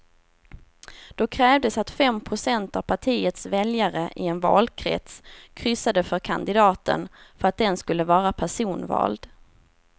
Då krävdes att fem procent av partiets väljare i en valkrets kryssade för kandidaten för att den skulle vara personvald.